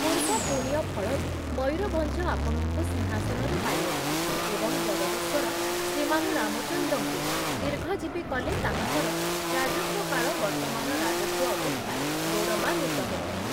ପୂର୍ବ ପୁଣ୍ୟ ଫଳରୁ ମୟୂରଭଞ୍ଜ ଆପଣଙ୍କୁ ସିଂହାସନରେ ପାଇଅଛି ଏବଂ ଜଗଦୀଶ୍ଵର ଶ୍ରୀମାନ ରାମଚନ୍ଦ୍ରଙ୍କୁ ଦୀର୍ଘଜୀବୀ କଲେ ତାହାଙ୍କର ରାଜତ୍ଵକାଳ ବର୍ତ୍ତମାନ ରାଜତ୍ଵ ଅପେକ୍ଷା ଗୌରବାନ୍ବିତ ହେବ ।